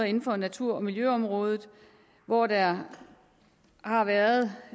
inden for natur og miljøområdet hvor der har været